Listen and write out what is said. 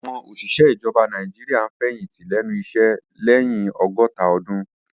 Àwọn òṣìṣẹ́ ìjọba Nàìjíríà ń fẹ̀yìntì lẹ́nu iṣẹ́ lẹ́ni ọgọ́ta ọdún